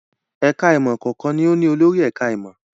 Ẹ̀ka-ìmọ̀ kọ̀ọ̀kan ni ó ní olórí ẹ̀ka-ìmọ̀.